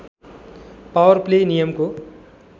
power play नियमको